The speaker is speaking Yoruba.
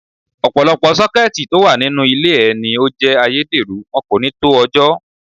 Ọ̀pọ̀lọpọ̀ Sọ́kẹ́tì tó wà nínú ilé ẹ ní ó jé ayédèrú, wọn kò ní tó ọjọ́.